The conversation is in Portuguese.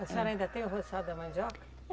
A senhora ainda tem o roçado da mandioca?